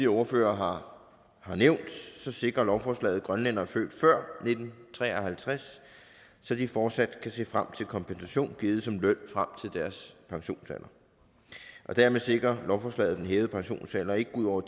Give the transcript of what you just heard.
ordførere har nævnt sikrer lovforslaget grønlændere født før nitten tre og halvtreds så de fortsat kan se frem til kompensation givet som løn frem til deres pensionsalder dermed sikrer lovforslaget at den hævede pensionsalder ikke går ud over